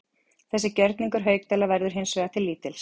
Þessi gjörningur Haukdæla verður hins vegar til lítils.